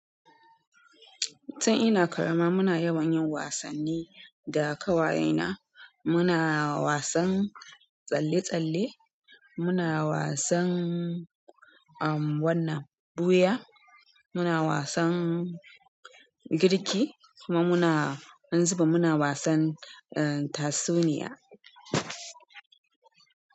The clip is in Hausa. Tun ina ƙarama muna yawan yin wasanni da ƙawayena. Muna wasan tsalle-tsalle, muna wasan, um, wannan ɓuya, muna wasan girki kuma muna, wani zibin muna wasan, uh, tatsuniya.